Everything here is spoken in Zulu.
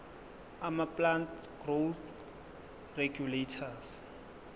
amaplant growth regulators